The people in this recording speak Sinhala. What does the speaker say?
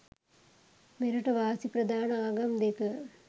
මෙරට වාසි ප්‍රධාන ආගම් දෙක